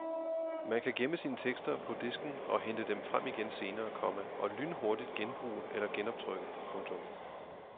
Man kan gemme sine tekster på disken og hente dem frem igen senere, komma og lynhurtigt genbruge eller genoptrykke. punktum